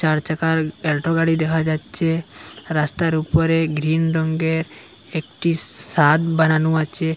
চার চাকার এলটো গাড়ি দেখা যাচ্ছে রাস্তার উপরে গ্রীন রঙ্গের একটি সাদ বানানো আচে।